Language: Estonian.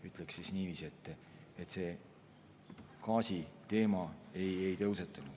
Ütleksin niiviisi, et see gaasiteema meil ei tõusetunud.